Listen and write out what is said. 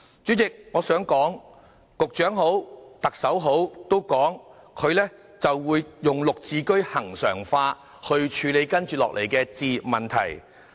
主席，無論局長或特首都表示會將"綠置居"恆常化，去處理接下來的置業問題。